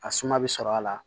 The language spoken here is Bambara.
A suma bɛ sɔrɔ a la